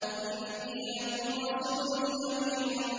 إِنِّي لَكُمْ رَسُولٌ أَمِينٌ